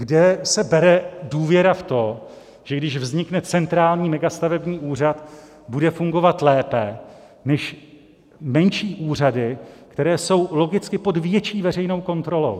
Kde se bere důvěra v to, že když vznikne centrální megastavební úřad, bude fungovat lépe než menší úřady, které jsou logicky pod větší veřejnou kontrolou?